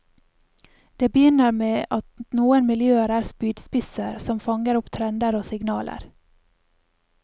Det begynner med at noen miljøer er spydspisser, som fanger opp trender og signaler.